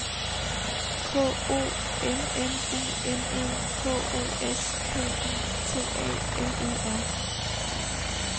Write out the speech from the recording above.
K O M M U N E H O S P I T A L E R